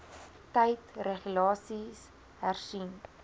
tyd regulasies hersien